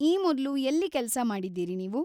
ಈ ಮೊದ್ಲು ಎಲ್ಲಿ ಕೆಲ್ಸ ಮಾಡಿದ್ದೀರಿ‌ ನೀವು?